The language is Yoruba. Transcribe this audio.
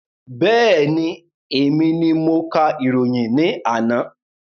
Bẹ́ẹ̀ni, èmi ni mo ka ìròyìn ní àná